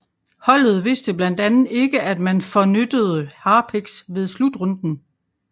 Holdet vidste blandt andet ikke at man fornyttede harpiks ved slutrunden